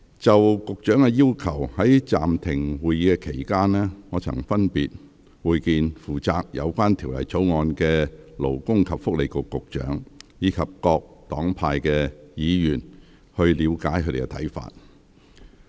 就局長的要求，在暫停會議期間，我曾分別會見負責有關《條例草案》的勞工及福利局局長，以及各黨派議員，以了解他們的看法。